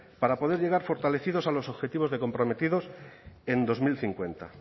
para poder llegar fortalecidos a los objetivos comprometidos en dos mil cincuenta